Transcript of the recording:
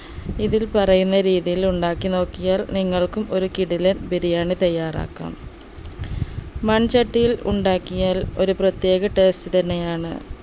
ഇതിൽ പറയുന്ന രീതിയിൽ ഉണ്ടാക്കി നോക്കിയാൽ നിങ്ങല്കും ഒരു കിടിലൻ ബിരിയാണി തയ്യാറാക്കാം മൺചട്ടിയിൽ ഉണ്ടാക്കിയാൽ ഒരു പ്രത്യേക taste തന്നെ ആണ്